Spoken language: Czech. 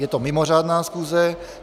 Je to mimořádná schůze.